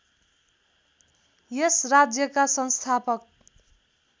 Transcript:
यस राज्यका संस्थापक